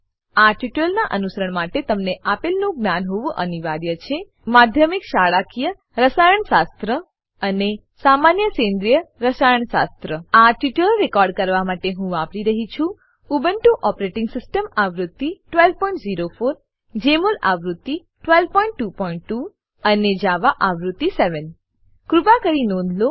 આ ટ્યુટોરીયલનાં અનુસરણ માટે તમને આપેલનું જ્ઞાન હોવું અનિવાર્ય છે માધ્યમિક શાળાકીય રસાયણશાસ્ત્ર અને સામાન્ય સેન્દ્રિય રસાયણશાસ્ત્ર આ ટ્યુટોરીયલ રેકોર્ડ કરવા માટે હું વાપરી રહ્યી છું ઉબુન્ટુ ઓપરેટીંગ સીસ્ટમ આવૃત્તિ 1204 જમોલ આવૃત્તિ 1222 અને જાવા આવૃત્તિ 7 કૃપા કરી નોંધ લો